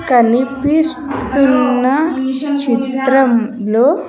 కనిపిస్తున్న చిత్రం లో.